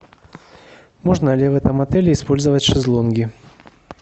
можно ли в этом отеле использовать шезлонги